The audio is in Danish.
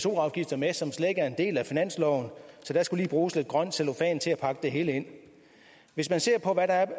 afgifter med som slet ikke er en del af finansloven så der skulle lige bruges lidt grøn cellofan til at pakke det hele ind hvis man ser på hvad der er af